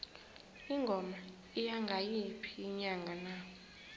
ingoma iya ngayiphi inyanga na